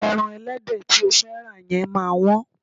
Ẹran ẹlẹ́dẹ̀ tí o fẹ́ rà yẹn máa wọ́n.